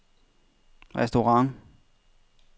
restaurant